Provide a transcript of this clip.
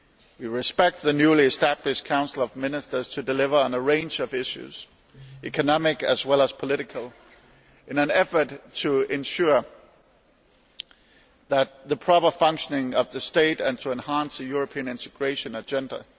We expect the newly established Council of Ministers to deliver on a range of issues economic as well as political in an effort to ensure the proper functioning of the state and to enhance the European integration agenda.